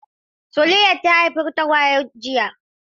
Suliat ta haifi tagwaye a jiya.